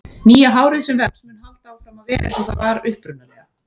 Nýja hárið sem vex mun halda áfram að vera eins og það var upprunalega.